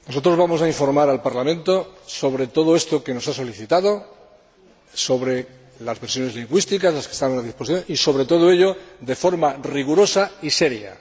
Nosotros vamos a informar al Parlamento sobre todo esto que nos ha solicitado, sobre las versiones lingüísticas, las que se encuentran disponibles, etc. Y, sobre todo ello, de forma rigurosa y seria.